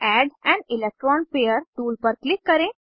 add an electron pair tool पर click करें